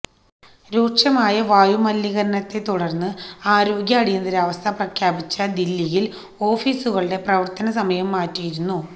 രൂക്ഷമായ വായുമലിനീകരണത്തെത്തുടർന്ന് ആരോഗ്യ അടിയന്തരാവസ്ഥ പ്രഖ്യാപിച്ച ദില്ലിയിൽ ഓഫീസുകളുടെ പ്രവർത്തനസമയം മാറ്റിയിരുന്നു